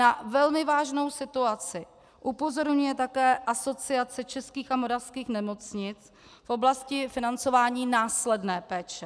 Na velmi vážnou situaci upozorňuje také Asociace českých a moravských nemocnic v oblasti financování následné péče.